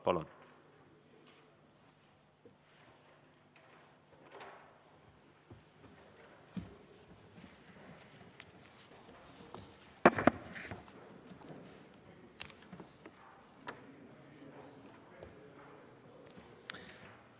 Palun!